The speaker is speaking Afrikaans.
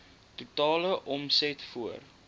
totale omset voor